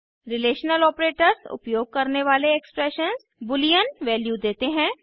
relational operators उपयोग करने वाले एक्सप्रेशंस बूलियन वैल्यू देते हैं